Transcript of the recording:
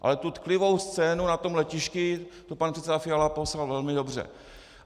Ale tu tklivou scénu na tom letišti, tu pan předseda Fiala popsal velmi dobře.